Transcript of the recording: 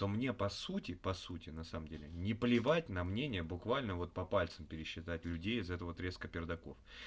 но мне по сути по сути на самом деле не плевать на мнение буквально вот по пальцам пересчитать людей из этого отрезка пердаков